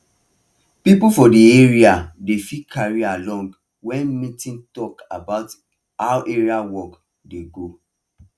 people for the area dey feel carried along when meeting talk about how area work dey go